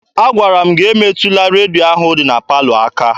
Agwara m gị emetụla redio ahụ dị na palọ aka!